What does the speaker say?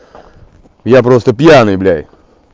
я просто пьяный блядь